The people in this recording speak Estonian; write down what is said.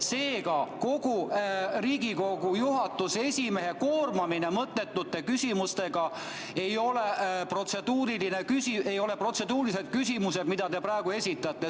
Seega, see Riigikogu esimehe koormamine mõttetute küsimustega – need ei ole protseduurilised küsimused, mida te praegu esitate.